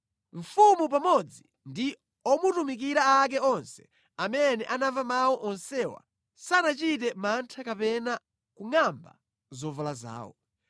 Mfumu pamodzi ndi omutumikira ake onse amene anamva mawu onsewa sanachite mantha kapena kungʼamba zovala zawo.